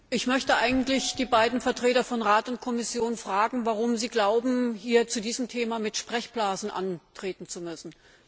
Herr Präsident! Ich möchte eigentlich die beiden Vertreter von Rat und Kommission fragen, warum sie glauben, zu diesem Thema hier mit Sprechblasen antreten zu müssen.